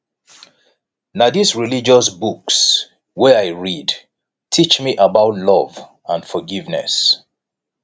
na dis religious books wey i read teach me about love and forgiveness